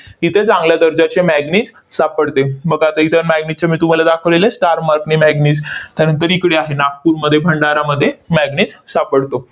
इथे चांगल्या दर्जाचे manganese सापडते. मग आता इथं manganese चं मी तुम्हाला दाखवलेलं आहे star mark ने manganese त्यानंतर इकडे आहे नागपूरमध्ये, भंडारामध्ये manganese सापडतो.